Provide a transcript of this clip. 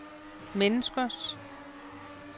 menneskers